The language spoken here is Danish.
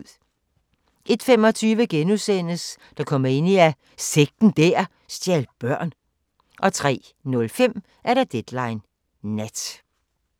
01:25: Dokumania: Sekten der stjal børn * 03:05: Deadline Nat